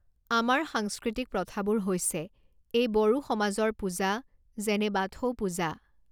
আমাৰ সাংস্কৃতিক প্ৰথাবোৰ হৈছে এই বড়ো সমাজৰ পূজা যেনে বাথৌ পূজা